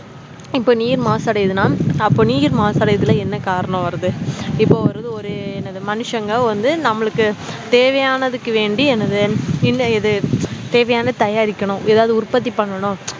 இப்போ நீர் மாசு அடையுதுனஅப்போ நீர் மாசு அடையதல்ல என்ன காரணம் வருது இப்போ ஒரு இது ஒரு என்னது மனுஷங்க வந்து தேவையானதுக்கு வேண்டி என்னத தேவையானது தயாரிக்க தயாரிக்கணும் உற்பத்திபன்னனும்